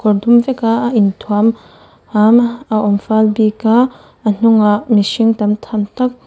kawr dum vek a a inthuam a awm fal bik a a hnungah mihring tam tham tak--